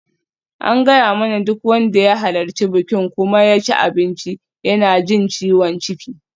An gaya mana duk wanda ya halarci bikin kuma ya ci abinci yana jin ciwon ciki.